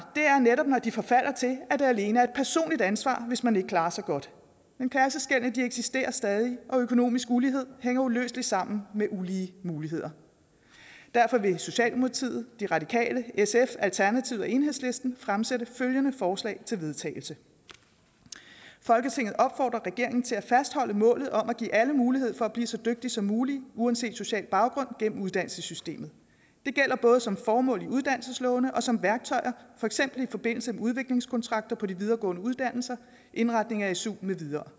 er netop når de forfalder til at mene at det alene er et personligt ansvar hvis man ikke klarer sig godt men klasseskellene eksisterer stadig og økonomisk ulighed hænger uløseligt sammen med ulige muligheder derfor vil socialdemokratiet de radikale sf alternativet og enhedslisten fremsætte følgende forslag til vedtagelse folketinget opfordrer regeringen til at fastholde målet om at give alle mulighed for at blive så dygtige som muligt uanset social baggrund gennem uddannelsessystemet det gælder både som formål i uddannelseslovene og som værktøjer for eksempel i forbindelse med udviklingskontrakter på de videregående uddannelser indretning af su med videre